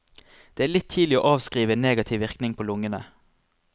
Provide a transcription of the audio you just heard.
Det er litt tidlig å avskrive en negativ virkning på lungene.